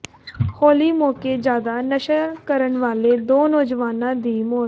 ਹੋਲੀ ਮੌਕੇ ਜ਼ਿਆਦਾ ਨਸ਼ਾ ਕਰਨ ਵਾਲੇ ਦੋ ਨੌਜਵਾਨਾਂ ਦੀ ਮੌਤ